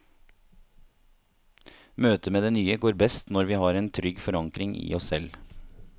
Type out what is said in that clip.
Møtet med det nye går best når vi har en trygg forankring i oss selv.